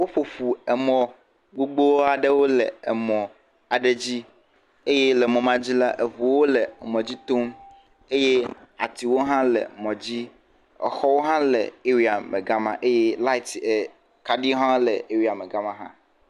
Woƒoƒu emɔ gbogbo aɖewo le emɔ aɖe dzi eye le mɔ ma dzi la eŋuwo le emɔ dzi tom eye atiwo hã le mɔ dzi, exɔwo hã le aria me ga ma eye lati kaɖi hã le aria me ga ma.